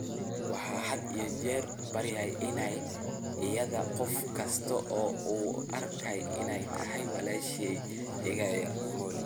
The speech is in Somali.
Wuxuu had iyo jeer barayaa iyada qof kasta oo u arka inay tahay 'walaashay iga yar Molly'.